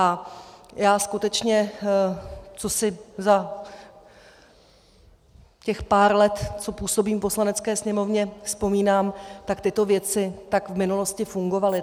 A já skutečně, co si za těch pár let, co působím v Poslanecké sněmovně, vzpomínám, tak tyto věci tak v minulosti fungovaly.